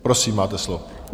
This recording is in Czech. Prosím, máte slovo.